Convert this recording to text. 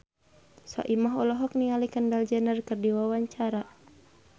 Soimah olohok ningali Kendall Jenner keur diwawancara